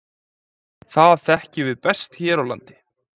Það þekkjum við best hér á landi.